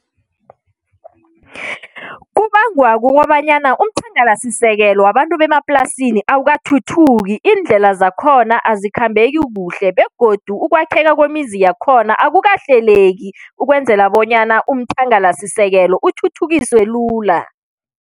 Kubangwa kukobanyana umthangalasisekelo wabantu bemaplasini awukathuthuki. Iindlela zakhona azikhambeki kuhle begodu ukwakheka kwemizi yakhona akukahleleki ukwenzela bonyana umthangalasisekelo uthuthukiswe lula.